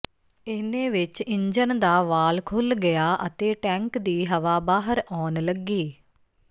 ਇਨ੍ਹੇ ਵਿਚ ਇੰਜਨ ਦਾ ਵਾਲ ਖੁੱਲ੍ਹ ਗਿਆ ਅਤੇ ਟੈਂਕ ਦੀ ਹਵਾ ਬਾਹਰ ਆਉਣ ਲੱਗੀ